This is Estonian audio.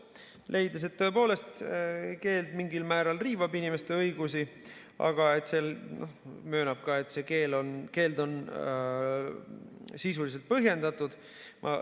Ta leidis, et tõepoolest keeld mingil määral riivab inimeste õigusi, aga möönab, et see keeld on sisuliselt põhjendatud.